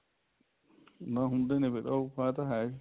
ਨਾ ਹੁੰਦੇ ਨੇ ਫੇਰ ਇਹ ਤਾਂ ਹੈ